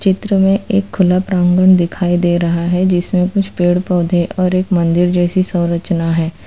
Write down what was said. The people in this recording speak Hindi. चित्र में एक खुला प्रांगन दिखाई दे रहा है जिसमें कुछ पेड़ पौधे और एक मंदिर जैसी संरचना है।